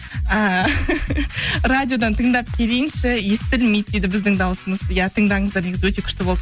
ііі радиодан тыңдап келейінші естілмейді дейді біздің дауысымыз иә тыңдаңыздар негізі өте күшті болды